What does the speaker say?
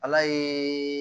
Ala ye